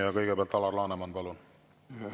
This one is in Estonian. Ja kõigepealt Alar Laneman, palun!